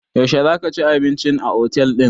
Yaushe za ka ci abinci a otel ɗin?